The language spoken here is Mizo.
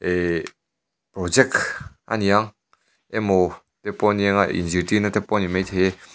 ihhh project aniang emaw te pawh anianga ih zirtirna te pawh a ni maithei.